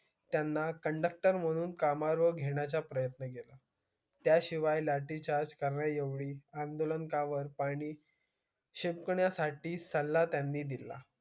त्याना conductor म्हणून काम वर घेण्या चा प्रयन्त केला त्या शिवाय लाठी चार करण्या एवढी आंदोलकावर पाणी शिंपण्या साठी सला दिला